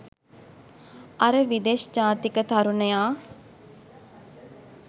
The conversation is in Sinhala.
අර විදෙස් ජාතික තරුණයා